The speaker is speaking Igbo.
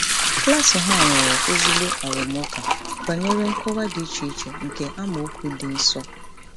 Klaasị ha nwere ezigbo arụmụka banyere nkọwa dị iche iche nke amaokwu dị nsọ.